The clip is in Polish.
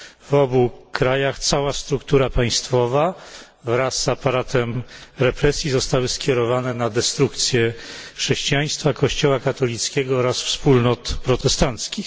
W obu krajach cała struktura państwowa wraz z aparatem represji zostały skierowane na destrukcję chrześcijaństwa, Kościoła katolickiego oraz wspólnot protestanckich.